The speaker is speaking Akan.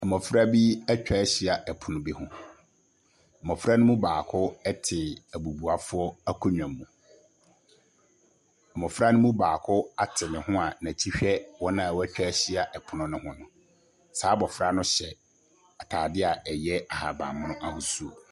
Mmɔfra bi atwa ahyia pono bi ho. Mmɔfra no baako te abubuafo akonnwa mu. Mmɔfra no mu baako ate ne ho n'akyi hwɛ wɔn a atwa ahyia pono no ho. Saa abofra no hyɛ ataadeɛ a ɛyɛ abanban mono ahosuo.